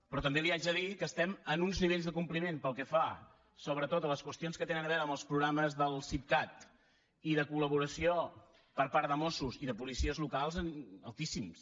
però també li haig de dir que estem en uns nivells de compliment pel que fa sobretot a les qüestions que tenen a veure amb els programes del sipcat i de col·laboració per part de mossos i de policies locals altíssims